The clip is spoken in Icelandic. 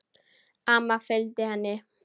Amma fylgdi henni.